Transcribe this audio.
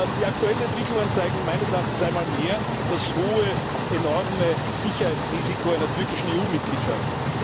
Die aktuellen Entwicklungen zeigen meines Erachtens einmal mehr das hohe, enorme Sicherheitsrisiko einer türkischen EU Mitgliedschaft.